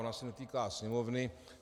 Ona se netýká Sněmovny.